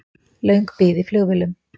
Löng bið í flugvélum